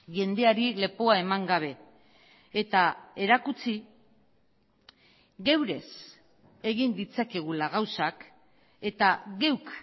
jendeari lepoa eman gabe eta erakutsi geurez egin ditzakegula gauzak eta geuk